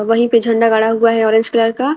वहीं पे झंडा गड़ा हुआ है ऑरेंज कलर का--